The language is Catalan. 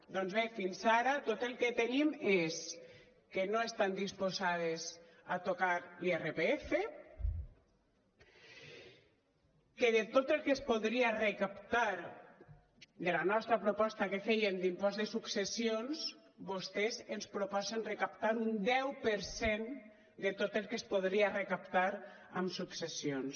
doncs bé fins ara tot el que tenim és que no estan disposades a tocar l’irpf que de tot el que es podria recaptar de la nostra proposta que fèiem d’impost de successions vostès ens proposen recaptar un deu per cent de tot el que es podria recaptar amb successions